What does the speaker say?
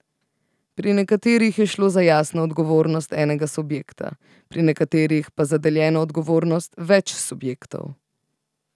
Pri nekaterih je šlo za jasno odgovornost enega subjekta, pri nekaterih pa za deljeno odgovornost več subjektov.